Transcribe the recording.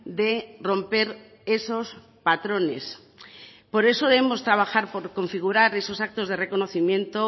de romper esos patrones por eso debemos de trabajar por configurar esos actos de reconocimiento